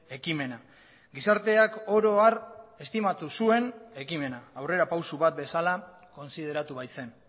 ekimena gizarteak oro har estimatu zuen ekimena aurrerapauso bat bezala kontsideratu baitzen